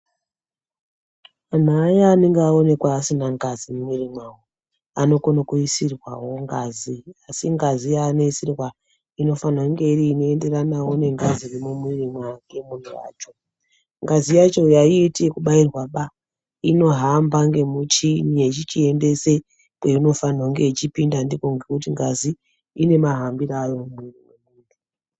Antu aya anenge aonekwa asina ngazi mumwiri mwawo, anokona kuisirwawo ngazi. Asi ngazi yaanoisirwa unofanira kunga iri inoenderanawo nengazi iri mumwiri mwake muntu wacho. Ngazi yacho aiiti ekubairwa baa, inohamba ngemuchini yechiendesa kwainofanirwa kunga ichipinda ndikwo ngekuti ngazi ine mahambiro ayo mumwiri.